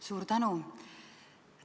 Suur tänu!